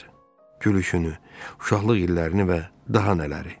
Gülüşünü, uşaqlıq illərini və daha nələri.